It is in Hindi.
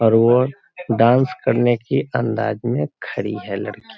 और वो डांस करने के अंदाज में खड़ी है लड़की।